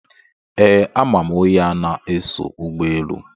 Ee, ama m onye a na-eso ụgbọelu.